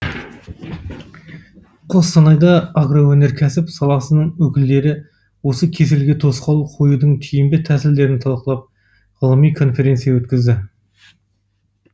қостанайда агроөнеркәсіп саласының өкілдері осы кеселге тосқауыл қоюдың тиімді тәсілдерін талқылап ғылыми конференция өткізді